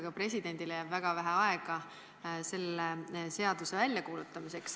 Ka presidendile jääb väga vähe aega selle seaduse väljakuulutamiseks.